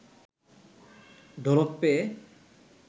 ঢোলক পেয়ে